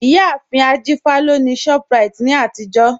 Iyàáfin Ajífà lọ ni Shoprite ni àtijọ̀